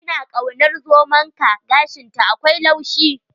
Ina kaunar zomonka, gashinta akwai laushi.